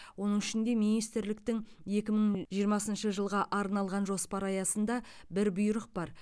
оның ішінде министрліктің екі мың жиырмасыншы жылға арналған жоспары аясында бір бұйрық бар